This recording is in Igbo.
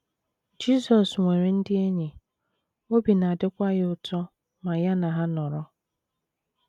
Jizọs nwere ndị enyi, obi na - adịkwa ya ụtọ ma ya na ha nọrọ.